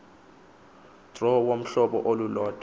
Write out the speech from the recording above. draw wohlobo olulodwa